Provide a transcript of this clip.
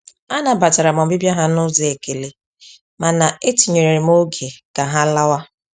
Anabatara m ọbịbịa ha n’ụzọ ekele, mana etinyere m oge ka ha lawa.